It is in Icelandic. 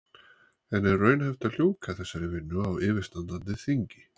En er raunhæft að ljúka þessari vinnu á yfirstandandi þingi?